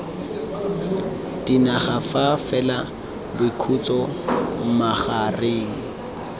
dinaga fa fela boikhutso magareng